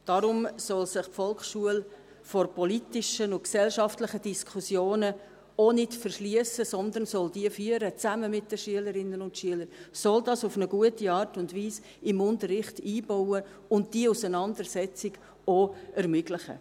Darum soll sich die Volksschule vor politischen und gesellschaftlichen Diskussionen auch nicht verschliessen, sondern soll sie zusammen mit den Schülerinnen und Schülern führen, soll das auf eine gute Art und Weise im Unterricht einbauen und diese Auseinandersetzung auch ermöglichen.